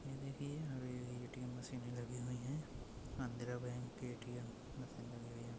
यह देखिए यह पे ए.टी.एम. मशीने लगी हुई है। Andhra bank ATM. मशीन लगी हुई है।